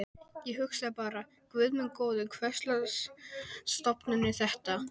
Ég hugsaði bara: Guð minn góður, hverslags stofnun er þetta?